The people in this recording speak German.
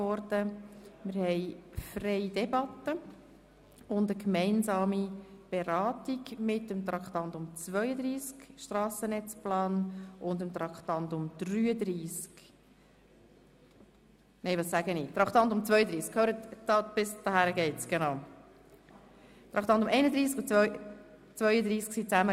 Wir führen eine freie Debatte und eine gemeinsame Beratung mit Traktandum 32, «Strassennetzplan 2014–2029, Aktualisierung der Anhänge 1 bis 3».